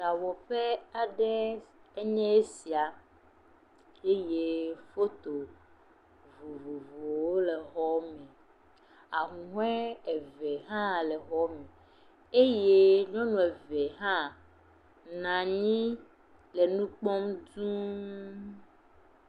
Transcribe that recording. Ɖawɔƒe aɖe enye esia eye foto vovovowo le xɔa me. Ahuhɔ̃e eve hã le xɔa me. Eye nyɔnu eve hã nɔ anyi le nu kpɔm dũu.